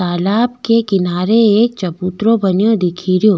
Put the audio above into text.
तालाब के किनारे एक चबूतरों बन्यो दिखेरो।